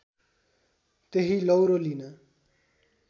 त्यही लौरो लिन